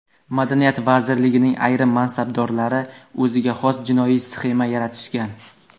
Madaniyat vazirligining ayrim mansabdorlari o‘ziga xos jinoiy sxema yaratishgan.